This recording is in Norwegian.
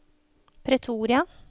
Pretoria